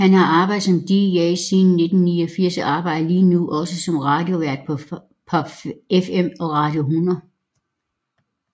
Han har arbejdet som dj siden 1989 og arbejder lige nu også som radiovært på PopFM og Radio 100